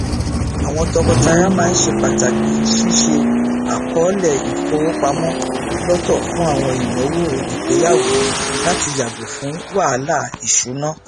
àwọn tọkọtaya máa ń ṣe pàtàkì ṣíṣe àkọọlẹ ifowopamọ lọtọ fún àwọn ìnáwó ìgbéyàwó láti yàgò fún wahalà ìṣúná